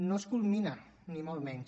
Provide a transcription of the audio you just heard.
no es culmina ni molt menys